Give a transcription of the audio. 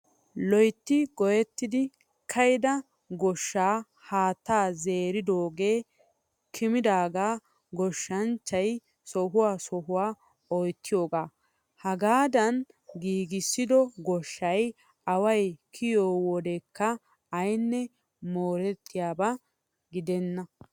Loyitti goyyettidi ka'ida goshshan haattaa zeeridoogee kimidaagaa goshshanchchayi sohuwaa sohuwa oyittiyoogaa. Hagaadan giigissido goshshayi awayi kiyiyoo wodekka ayinne moorettiyaaba gidenna.